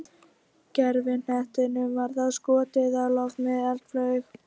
Gervihnettinum var þá skotið á loft með eldflaug.